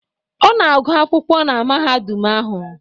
Ọ na-agụ akwụkwọ na mahadum ahụ